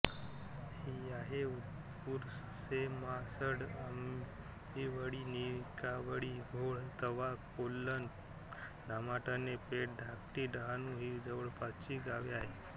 साये उरसेम्हासड आंबिवळी निकावळी घोळ तवा कोल्हण धामाटणे पेठ धाकटी डहाणू ही जवळपासची गावे आहेत